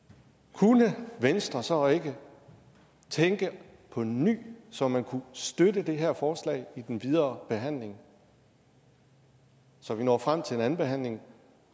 kunne venstre så ikke tænke på ny så man kunne støtte det her forslag i den videre behandling så vi når frem til en anden behandling